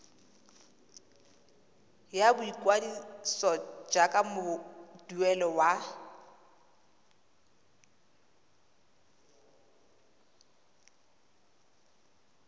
ya boikwadiso jaaka moduedi wa